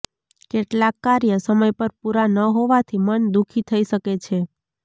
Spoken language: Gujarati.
કેટલાક કાર્ય સમય પર પૂરા ન હોવાથી મન દુખી થઈ શકે છે